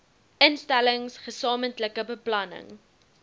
instellings gesamentlike beplanning